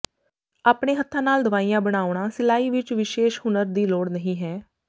ਆਪਣੇ ਹੱਥਾਂ ਨਾਲ ਦਵਾਈਆਂ ਬਣਾਉਣਾ ਸਿਲਾਈ ਵਿਚ ਵਿਸ਼ੇਸ਼ ਹੁਨਰ ਦੀ ਲੋੜ ਨਹੀਂ ਹੈ